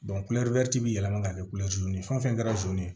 kulɛriw bɛ yɛlɛma ka kɛ ye fɛn fɛn kɛra ye